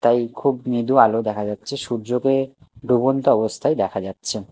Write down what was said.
তাই খুব মৃদু আলো দেখা যাচ্ছে সূর্যকে ডুবন্ত অবস্থায় দেখা যাচ্ছে।